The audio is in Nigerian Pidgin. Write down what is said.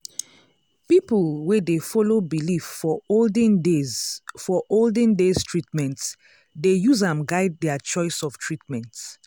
people wey dey follow belief for olden days for olden days treatment dey use am guide their choice of treatment.